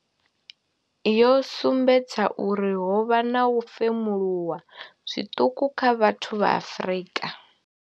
yo sumbedza uri ho vha na u femuluwa zwiṱuku kha vhathu vha Afrika.